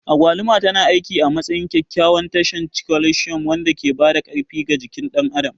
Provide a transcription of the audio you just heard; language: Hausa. Agwaluma tana aiki a matsayin kyakkyawan tushen calcium wanda ke ba da ƙarfi ga jikin ɗan adam.